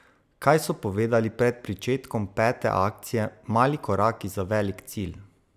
Kaj so povedali pred pričetkom pete akcije Mali koraki za velik cilj?